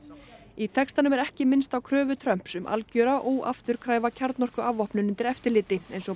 í textanum er ekki minnst á kröfu Trumps um algjöra óafturkræfa kjarnorkuafvopnun undir eftirliti eins og